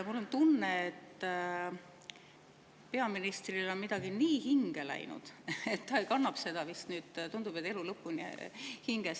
Mul on tunne, et peaministrile on midagi nii hinge läinud, et ta kannab seda vist, tundub, elu lõpuni hinges.